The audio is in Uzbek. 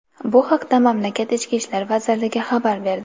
Bu haqda mamlakat Ichki ishlar vazirligi xabar berdi .